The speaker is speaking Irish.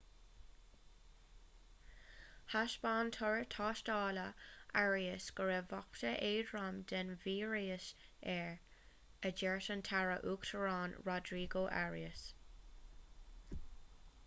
thaispeáin toradh tástála arias go raibh babhta éadrom den víreas air a dúirt an taire uachtaráin rodrigo arias